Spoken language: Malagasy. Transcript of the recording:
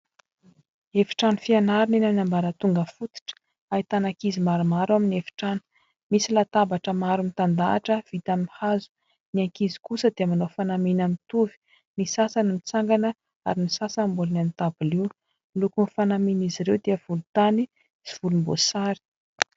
Efitrano fianarana eny amin'ny ambaratonga fototra. Ahitana ankizy maromaro amin'ny efitrano. Misy latabatra maro mitan-dahatra vita amin'ny hazo. Ny ankizy kosa dia manao fanamiana mitovy. Ny sasany mitsangana ary ny sasany mbola eo amin'ny ny dabilio. Ny lokon'ny fanamian'izy ireo dia volotany sy volom-boasary.